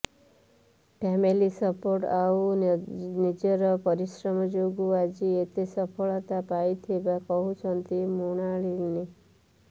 family support ଆଉ ନିଜର ପରିଶ୍ରମ ଯୋଗୁ ଆଜି ଏତେ ସଫଳତା ପାଇଥିବା କହିଛନ୍ତି ମୃଣାଳିନୀ